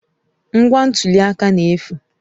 Ngwa ntuli aka na-efu.